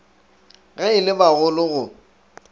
ge e le bagolo go